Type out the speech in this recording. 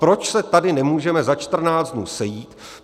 Proč se tady nemůžeme za 14 dnů sejít?